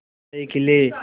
आशाएं खिले